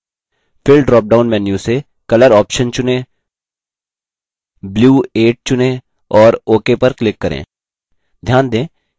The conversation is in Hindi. fill dropdown menu से color option चुनें blue 8 चुनें और ok पर click करें